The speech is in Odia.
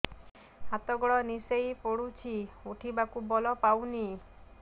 ହାତ ଗୋଡ ନିସେଇ ପଡୁଛି ଉଠିବାକୁ ବଳ ପାଉନି